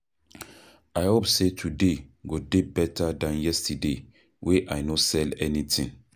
I hope sey today go dey beta dan yesterday wey I no sell anytin.